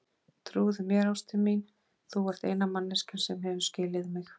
Trúðu mér, ástin mín, þú ert eina manneskjan sem hefur skilið mig.